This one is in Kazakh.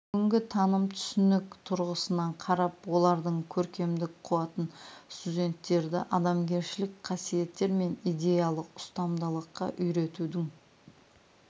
бүгінгі таным түсінік тұрғысынан қарап олардың көркемдік қуатын студенттерді адамгершілік қасиеттер мен идеялық ұстамдылыққа үйретудің